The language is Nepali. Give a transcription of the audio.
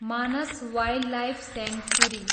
Manas wildlife sanctuary